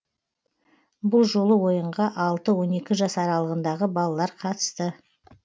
бұл жолы ойынға алты он екі жас аралығындағы балалар қатысты